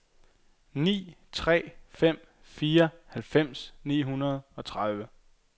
ni tre fem fire halvfems ni hundrede og treogtredive